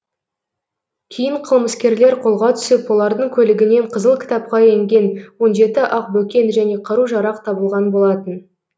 кейін қылмыскерлер қолға түсіп олардың көлігінен қызыл кітапқа енген он жеті ақбөкен және қару жарақ табылған болатын